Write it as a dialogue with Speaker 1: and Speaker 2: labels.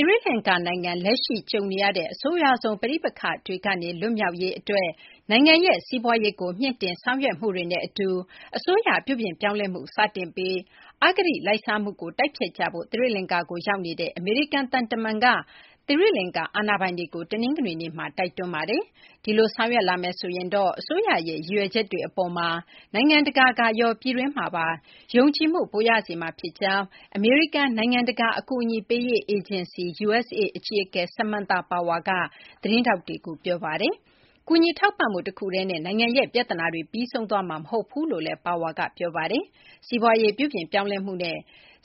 Speaker 1: ီရိလကာၤ နိုင်ငံ လက်ရှိကြုံနေရတဲ့ အဆိုးရွားဆုံး ပဋိပက္ခတွေကနေ လွတ်မြောက်ရေး အတွက် နိုင်ငံရဲ့ စီးပွားရေးကို မြှင့်တင် ဆောင်ရွက်မှုတွေနဲ့ အတူ အစိုးရ ပြုပြင်းပြောင်းလဲမှု စတင်ပြီး အဂတိ လိုက်စားမှုကို တိုက်ဖျက်ကြဖို့ သီရိလကာၤ ကို ရောက်နေတဲ့ အမေရိကန် သံတမန်က သီရိလကာၤ အာဏာပိုင်တွေကို တနင်္ဂနွေနေ့မှာ တိုက်တွန်းလိုက်ပါတယ်။ ဒီလို ဆောင်ရွက်လာမယ်ဆိုရင်တော့ အစိုးရရဲ့ ရည်ရွယ်ချက်တွေ အပေါ်မှာ နိုင်ငံတကာကရော ပြည်တွင်းမှာပါ ယုံကြည်မှု ပိုရစေမှာ ဖြစ်ကြောင်း အမေရိကန် နိုင်ငံတကာ အကူအညီပေးရေး အေဂျင်စီ USAID အကြီးအကဲ Samantha Power က သတင်းထောက်တွေကို ပြောပါတယ်။ ကူညီ ထောက်ပံ့မှု တခုတည်းနဲ့ နိုင်ငံရဲ့ ပြဿနာတွေ ပြီးဆုံးသွားမှာ မဟုတ်ဘူးလို့လည်း Power က ပြောပါတယ်။ စီးပွားရေး ပြုပြင်ပြောင်းလဲမှုနဲ့